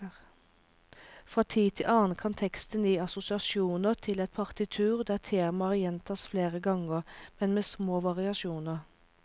Fra tid til annen kan teksten gi assosiasjoner til et partitur der temaer gjentas flere ganger, men med små variasjoner.